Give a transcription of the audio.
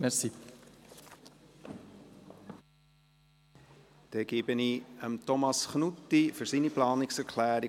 Bei der Umsetzung der Direktionsreform sind die dezentralen Strukturen zu beachten und zu stärken.